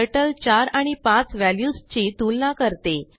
turtle 4 आणि 5 व्ह्याल्युसची तुलना करते